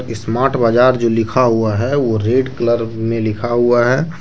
Smart बाजार जो लिखा हुआ है वो रेड कलर में लिखा हुआ है ।